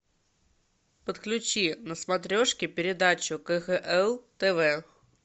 подключи на смотрешке передачу кхл тв